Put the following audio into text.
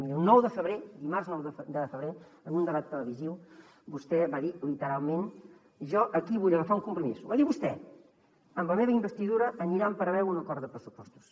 miri el nou de febrer dimarts nou de febrer en un debat televisiu vostè va dir literalment jo aquí vull agafar un compromís ho va dir vostè amb la meva investidura anirà en paral·lel un acord de pressupostos